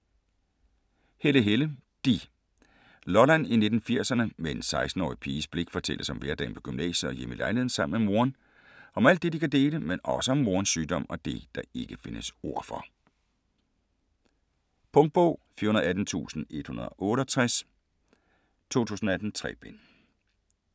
Helle, Helle: de Lolland i 1980'erne, med en 16-årig piges blik fortælles om hverdagen på gymnasiet og hjemme i lejligheden sammen med moren. Om alt det de kan dele, men også om morens sygdom og det, der ikke findes ord for. Punktbog 418168 2018. 3 bind.